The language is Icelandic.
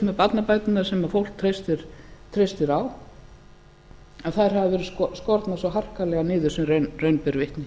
með barnabæturnar sem fólk treystir á þær hafa verið skornar svo harkalega niður sem raun ber vitni